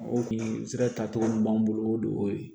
O kun sera tacogo min b'an bolo o de y'o ye